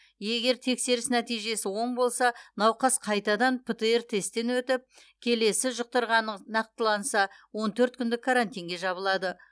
егер тексеріс нәтижесі оң болса науқас қайтадан птр тесттен өтіп келесі жұқтырғаны нақтыланса он төрт күндік карантинге жабылады